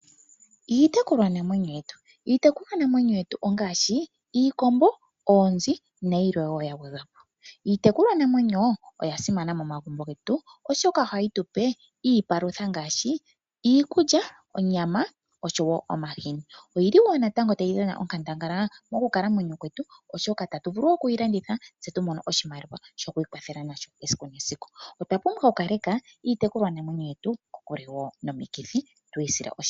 Iitekulwanamwenyo yetu, iitekulwanamwenyo yetu ongaashi iikombo, oonzi nayilwe wo ya gwedhwa po. Iitekulwa namwenyo oyasimana momagumbo getu oshoka oha yi tupe iipalutha ngaashi iikulya, oonyama, osho wo omahini. Oyili wo natango tayi dhana onkandangala moonkalamwenyo dhetu oshoka otatu tu vulu okuyilanditha tse tu mone oshimaliwa shoku ikwathela nasho esiku nesiku. Otwapumbwa okukaleka iitekulwa namwenyo yetu kokule nomikithi tuyi sile oshimpwiyu.